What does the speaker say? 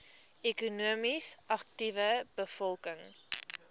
ekonomies aktiewe bevolking